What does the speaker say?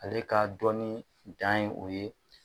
Ale ka dɔnni dan ye o ye.